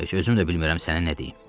Yəni özüm də bilmirəm sənə nə deyim.